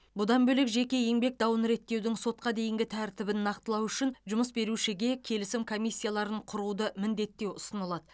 бұдан бөлек жеке еңбек дауын реттеудің сотқа дейінгі тәртібін нақтылау үшін жұмыс берушіге келісім комиссияларын құруды міндеттеу ұсынылады